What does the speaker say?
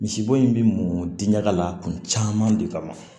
Misibo in bɛ mɔn diɲɛ ka la kun caman de kama